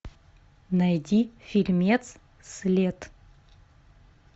найди фильмец след